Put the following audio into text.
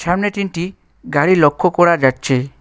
সামনে তিনটি গাড়ি লক্ষ করা যাচ্ছে।